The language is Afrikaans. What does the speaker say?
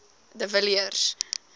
de villiers